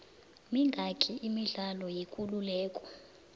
mingaki imidlalo yekuleleko